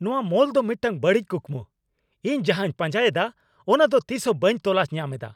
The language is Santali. ᱱᱚᱶᱟ ᱢᱚᱞ ᱫᱚ ᱢᱤᱫᱴᱟᱝ ᱵᱟᱹᱲᱤᱡ ᱠᱩᱠᱢᱩ ᱾ᱤᱧ ᱡᱟᱦᱟᱸᱧ ᱯᱟᱸᱡᱟᱭᱮᱫᱟ ᱚᱱᱟᱫᱚ ᱛᱤᱥᱦᱚᱸ ᱵᱟᱹᱧ ᱛᱚᱞᱟᱥ ᱧᱟᱢᱮᱫᱟ ᱾